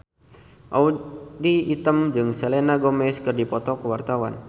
Audy Item jeung Selena Gomez keur dipoto ku wartawan